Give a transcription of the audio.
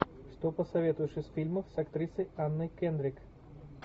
что посоветуешь из фильмов с актрисой анной кендрик